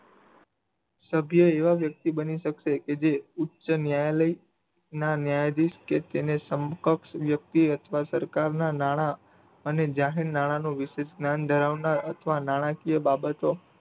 સભ્ય એવા વ્યક્તિ બની શકશે કે જે ઉચ્ચ ન્યાયાલય ના ન્યાયાધીશ કે તેને સમકક્ષકે તે અથવા સરકાર ના નાણા અને જાહેર નાણા નું વિશેષ જ્ઞાન ધરાવનારા અથવા નાણાકીય બાબતો